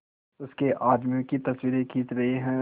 उसके आदमियों की तस्वीरें खींच रहे हैं